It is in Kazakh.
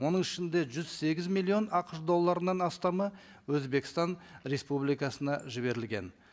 оның ішінде жүз сегіз миллион ақш долларынан астамы өзбекстан республикасына жіберілген